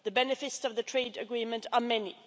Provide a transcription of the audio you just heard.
The benefits of the trade agreement are many.